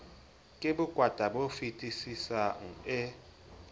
ke bokwata bo fetisisang e